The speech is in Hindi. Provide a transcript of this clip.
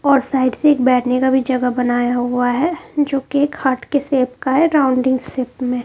और साइड से एक बैठने का भी जगह बनाया हुआ है जो कि एक हार्ट के शेप का है राउंडिंग शेप में।